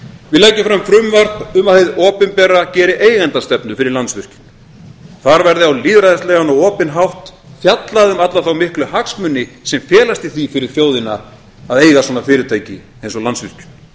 við leggjum fram frumvarp um að hið opinbera geri eigendastefnu fyrir landsvirkjun þar verði á lýðræðislegan og opinn hátt fjallað um alla þá miklu hagsmuni sem felast í því fyrir þjóðina að eiga svona fyrirtæki eins og landsvirkjun